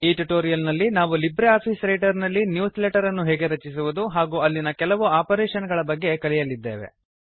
ಈ ಟ್ಯುಟೋರಿಯಲ್ ನಲ್ಲಿ ನಾವು ಲಿಬ್ರೆ ಆಫೀಸ್ ರೈಟರ್ ನಲ್ಲಿ ನ್ಯೂಸ್ ಲೆಟರ್ ಅನ್ನು ಹೇಗೆ ರಚಿಸುವುದು ಹಾಗೂ ಅಲ್ಲಿನ ಕೆಲವು ಆಪರೇಶನ್ ಗಳ ಬಗ್ಗೆ ಕಲಿಯಲಿದ್ದೇವೆ